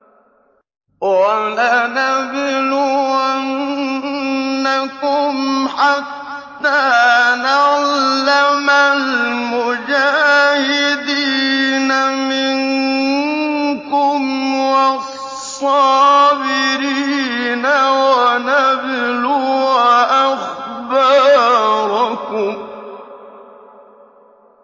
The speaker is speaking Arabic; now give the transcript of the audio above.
وَلَنَبْلُوَنَّكُمْ حَتَّىٰ نَعْلَمَ الْمُجَاهِدِينَ مِنكُمْ وَالصَّابِرِينَ وَنَبْلُوَ أَخْبَارَكُمْ